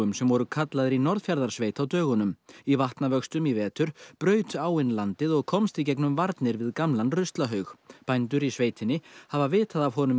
sem voru kallaðir í Norðfjarðarsveit á dögunum í vatnavöxtum í vetur braut áin landið og komst í gegnum varnir við gamlan ruslahaug bændur í sveitinni hafa vitað af honum